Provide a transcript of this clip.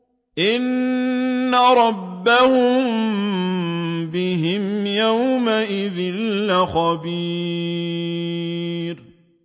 إِنَّ رَبَّهُم بِهِمْ يَوْمَئِذٍ لَّخَبِيرٌ